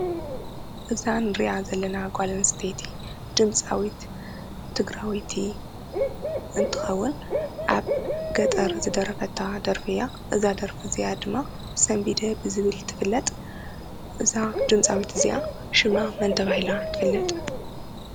እዛ ንሪኣ ዘለና ጓል ኣንስተይቲ ድማፃዊት ትግራወይቲ እንትኸውን ኣብ ገጠር ዝደረፈታ ደርፊ እያ ።እዛ ደርፊ እዚኣ ድማ ሰንቢደ ብዝብል ትፍለጥ እዛ ድምፃዊት እዚኣ ሽማ መን ተባሂላ ትፍለጥ ?